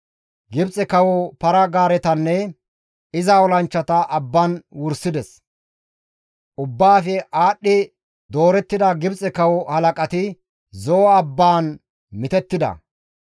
Gibxe kawo para-gaaretanne iza olanchchata abban wursides; ubbaafe aadhdhi doorettida Gibxe kawo halaqati, Zo7o abbaan mitettida.